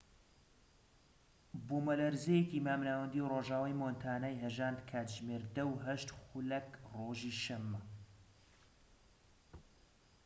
بوومەلەرزەیەکی مامناوەندی ڕۆژئاوای مۆنتانای هەژاند کاتژمێر ١٠:٠٨ خولەک رۆژی دووشەمە